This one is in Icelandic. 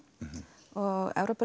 og